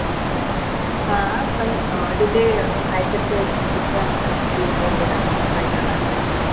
हां पन अं तिथे अं काहीतरी ते बुद्धांच स्तूप वगैरा असं काहीतरी आहे